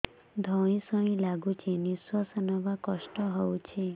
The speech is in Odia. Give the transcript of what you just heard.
ଧଇଁ ସଇଁ ଲାଗୁଛି ନିଃଶ୍ୱାସ ନବା କଷ୍ଟ ହଉଚି